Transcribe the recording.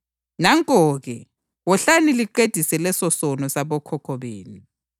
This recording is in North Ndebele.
Nanko-ke, wohlani liqedise lesosono sabokhokho benu!